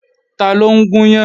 Taló ń gún yán?